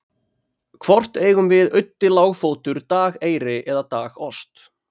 hvort eigum við auddi lágfótur dageyri eða dagost